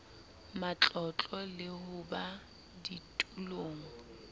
matlotlo le ho ba ditulong